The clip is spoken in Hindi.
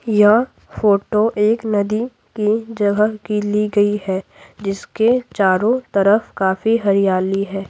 यह फोटो एक नदी की जगह की ली गई है जिसके चारों तरफ काफी हरियाली है।